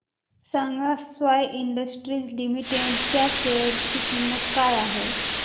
सांगा sky industries limited च्या share ची किंमत काय आहे